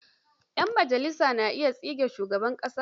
Ƴan majalisa na iya tsige shugaban ƙasa.